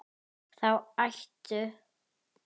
Þá hættu